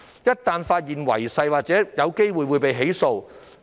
一旦區議員違反誓言，便有機會被起訴。